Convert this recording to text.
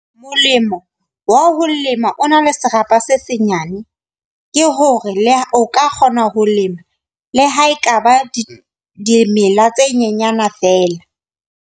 Molemo wa ho lema o na le serapa se senyane, ke hore le ha o ka kgona ho lema le ha ekaba di dimela tse nyenyana feela.